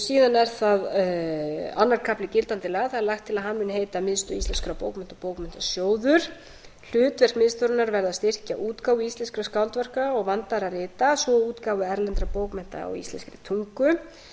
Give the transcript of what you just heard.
síðan er það annar kafli gildandi laga lagt er til að hann muni heita miðstöð íslenskra bókmennta og bókmenntasjóður hlutverk miðstöðvarinnar verði að styrkja útgáfu íslenskra útgáfu íslenskra skáldverka og vandaðra rita svo og útgáfu erlendra bókmennta á íslenskri tungu eins